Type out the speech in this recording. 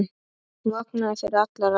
Hún vaknaði fyrir allar aldir.